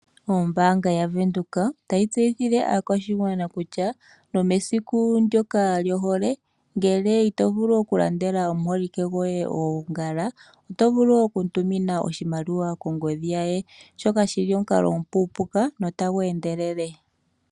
Ombaanga yavenduka otayi tseyithile aakwashigwana kutya nomesiku ndyoka lyohole ngele itovulu oku landela omuholike goye oongala tovulu okumutumina oshimaliwa kongodhi shoka shili omukalo omupuupuka notagu endelele.